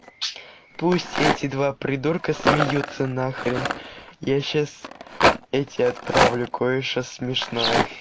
пусть эти два придурка смеются на хрен я сейчас эти отправлю кое-что смешное